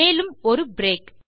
மேலும் ஒரு பிரேக்